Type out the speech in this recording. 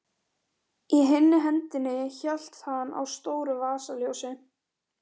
Öll fjögurra álna tré og þar undir skal það vera.